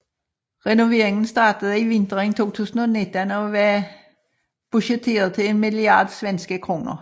Renoveringen startede i vinteren 2019 og var budgetteret til en milliard svenske kroner